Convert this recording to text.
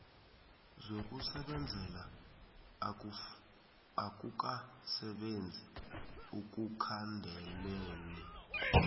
zokusebenzela akukasebenzi ekukhandeleni